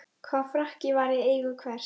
Hvaða frakki var í eigu hvers?